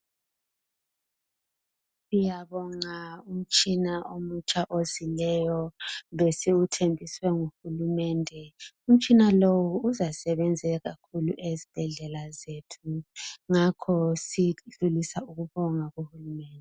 Siyabonga umtshina omutsha ozileyo, besiwuthenjiswe nguhulumende. Umtshina lowu uzasebenzela esibhedlela sethu, ngakho sifisa ukubonga